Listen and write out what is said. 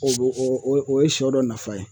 O o o o ye sɔ dɔ nafa ye